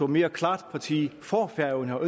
mere klart tog parti for færøerne og